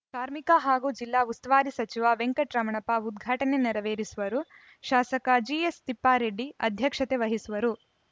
ಕಾರ್ಮಿಕ ಹಾಗೂ ಜಿಲ್ಲಾ ಉಸ್ತುವಾರಿ ಸಚಿವ ವೆಂಕಟರಮಣಪ್ಪ ಉದ್ಘಾಟನೆ ನೆರವೇರಿಸುವರು ಶಾಸಕ ಜಿಎಸ್ ತಿಪ್ಪಾರೆಡ್ಡಿ ಅಧ್ಯಕ್ಷತೆ ವಹಿಸುವರು